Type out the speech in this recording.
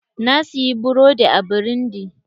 Na siyi burodi a burundi.